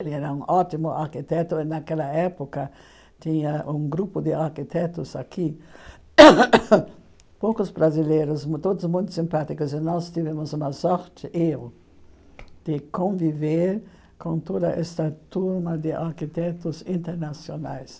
Ele era um ótimo arquiteto, e naquela época tinha um grupo de arquitetos aqui, poucos brasileiros, todos muito simpáticos, e nós tivemos uma sorte, eu, de conviver com toda essa turma de arquitetos internacionais.